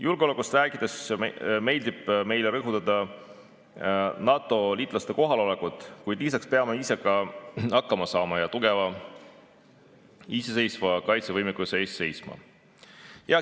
Julgeolekust rääkides meeldib meile rõhutada NATO‑liitlaste kohalolekut, kuid lisaks peame ise hakkama saama ja tugeva iseseisva kaitsevõimekuse eest seisma.